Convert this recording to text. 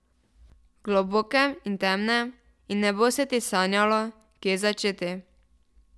Globokem in temnem, in ne bo se ti sanjalo, kje začeti.